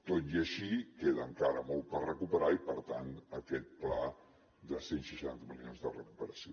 tot i així queda encara molt per recuperar i per tant aquest pla de cent i seixanta milions de recuperació